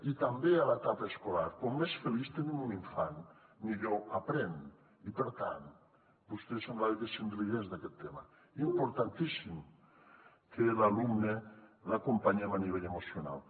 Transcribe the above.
i també a l’etapa escolar com més feliç tenim un infant millor aprèn i per tant vostè semblava que se’n rigués d’aquest tema importantíssim que l’alumne l’acompanyem a nivell emocional